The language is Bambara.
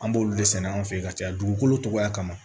An b'olu de sɛnɛ an fɛ yen ka caya dugukolo togoya kama